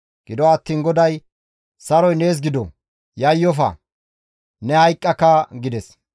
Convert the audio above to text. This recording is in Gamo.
Gido attiin GODAY, «Saroy nees gido! Yayyofa! Ne hayqqaka» gides.